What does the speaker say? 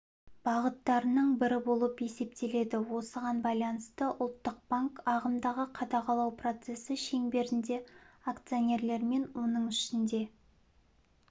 бағыттарының бірі болып есептеледі осыған байланысты ұлттық банк ағымдағы қадағалау процесі шеңберінде акционерлермен оның ішінде